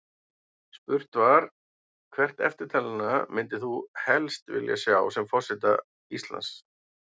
Spurt var: Hvert eftirtalinna myndir þú helst vilja sjá sem forseta Íslands?